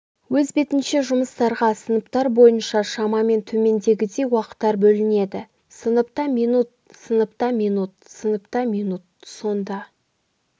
өз бетінше жұмыстарға сыныптар бойынша шамамен төмендегідей уақыттар бөлінеді сыныпта минут сыныпта минут сыныпта минут сонда